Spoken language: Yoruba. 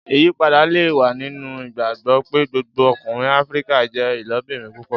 Iyipada le wa ninu igbagbọ pe gbogbo ọkunrin Afirika jẹ ilobirin púpọ.